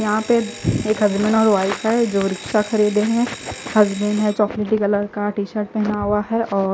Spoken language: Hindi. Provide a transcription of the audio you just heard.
यहा पे एक हस्बैंड और वाइफ है जो रिक्शा खरीद रहे है हस्बैंड ने चोक्लटी कलर का टीसर्ट पहना हुआ है और--